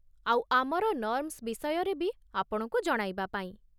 ଆଉ ଆମର ନର୍ମ୍ସ୍ ବିଷୟରେ ବି ଆପଣଙ୍କୁ ଜଣାଇବା ପାଇଁ ।